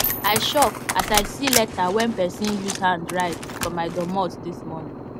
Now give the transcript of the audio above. i shock as i see leta wen person use hand write for my doormot dis morning